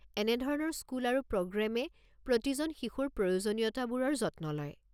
এনেধৰণৰ স্কুল আৰু প্ৰগ্ৰামে প্ৰতিজন শিশুৰ প্ৰয়োজনীয়তাবোৰৰ যত্ন লয়।